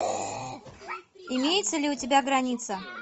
имеется ли у тебя граница